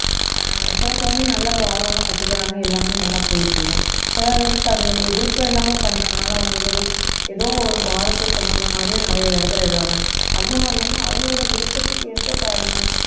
அஹ் சில குழந்தைங்க நல்ல ஒரு ஆர்வமா கத்துக்கிறாங்க எல்லாமே நல்லா போயிட்டு இருக்கு சில பேருக்கு அது ஒரு விருப்பம் இல்லாம பண்றதுனால அவங்களுக்கு ஒரு ஏதோ ஒரு பாரத்தை சுமந்த மாதிரியும் நிறைய இடத்துல இருப்பாங்க அந்த மாதிரி இல்லாம அவங்களோட விருப்பத்துக்கு ஏற்ப இப்ப நம்ம